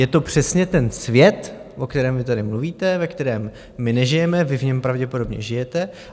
Je to přesně ten svět, o kterém vy tady mluvíte, ve kterém my nežijeme, vy v něm pravděpodobně žijete.